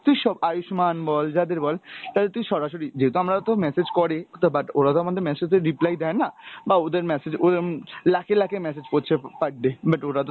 তুই সব আয়ুষ্মান বল, যাদের বল তাদের তুই সরাসরি, যেহেতু আমরা তো message করে তো but ওরা তো আমাদের message এর reply দেই না , বা ওদের message ওদের উম লাখে লাখে message করছে per day, but ওরা তো